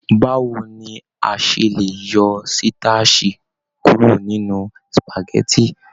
Báwo ni a se le yọ sitasi kuro nínú supágẹ̀tì?